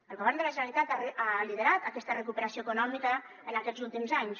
el govern de la generalitat ha liderat aquesta recuperació econòmica en aquests últims anys